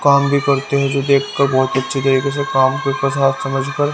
काम भी करते हैं जो देखकर बहुत अच्छी तरीके से काम को प्रसाद समझकर--